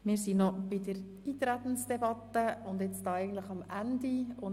Wir sind noch in der Eintretensdebatte und nun eigentlich am Ende angelangt.